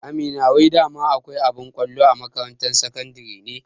Amina wai dama akwai abin kwallo a makarantar sakandare ne?